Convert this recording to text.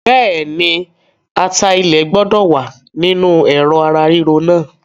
Bẹ́ẹ̀ni, ata ilẹ̀ gbọ́dọ̀ wá nínú Ẹ̀rọ̀ ara ríro náà.